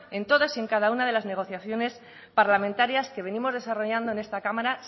en todas y en cada una de las negociaciones parlamentarias que venimos desarrollando en esta cámara